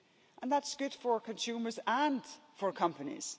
And that's good for consumers and for companies.